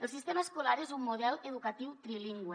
el sistema escolar és un model educatiu trilingüe